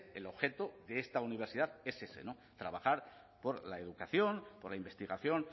el objeto de esta universidad es ese trabajar por la educación por la investigación